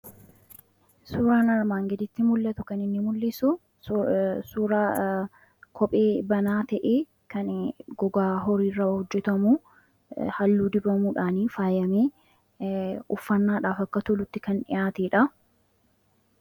Suuraan armaan gaditti mul'atu kan inni mul'isu suuraa kophee banaa ta'ee, kan gogaa horii irraa hojjetamu, halluu dibamuudhaan faayamee, uffannaadhaaf akka tolutti kan dhiyaateedha.